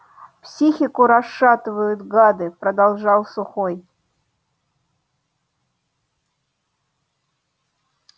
психику расшатывают гады продолжал сухой